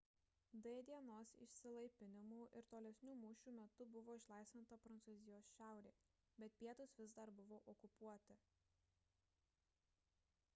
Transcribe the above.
d dienos išsilaipinimų ir tolesnių mūšių metu buvo išlaisvinta prancūzijos šiaurė bet pietūs vis dar buvo okupuoti